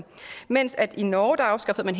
i norge afskaffede man